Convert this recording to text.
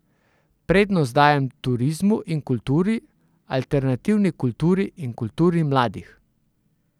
Prednost dajem turizmu in kulturi, alternativni kulturi in kulturi mladih.